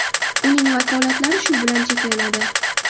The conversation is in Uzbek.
Uning vakolatlari shu bilan cheklanadi.